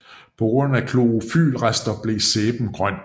På grund af klorofylrester blev sæben grøn